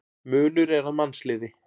Munur er að mannsliði.